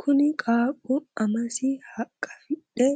kuni qaaqqu amasi haqqafidhe